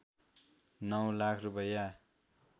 ९ लाख रूपैयाँ